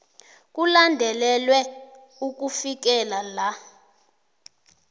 kulandelelwe ukufikela la